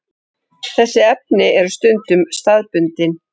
Þessi efni eru stundum staðbundin.